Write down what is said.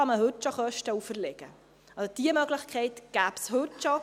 Diese Möglichkeit gibt es heute schon.